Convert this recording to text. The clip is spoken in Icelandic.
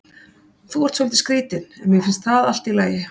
Þú ert svolítið skrítinn en mér finnst það allt í lagi.